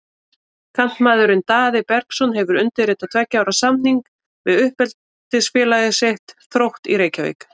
Kantmaðurinn Daði Bergsson hefur undirritað tveggja ára samning við uppeldisfélag sitt, Þrótt í Reykjavík.